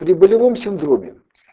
при болевом синдроме